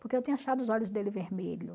Porque eu tinha achado os olhos dele vermelho.